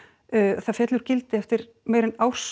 það féll úr gildi eftir meira en árs